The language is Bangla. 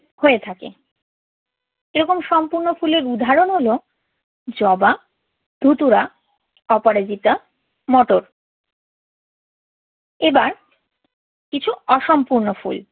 হয়ে থাকে। এইরকম সম্পূর্ণ ফুলের উদাহরণ হলো জবা, ধুতুরা, অপরাজিতা, মটর। এবার কিছু অসম্পূর্ণ ফুল